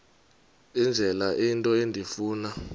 indlela into endifuna